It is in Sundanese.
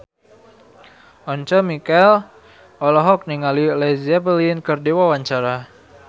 Once Mekel olohok ningali Led Zeppelin keur diwawancara